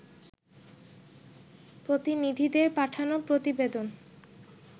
প্রতিনিধিদের পাঠানো প্রতিবেদন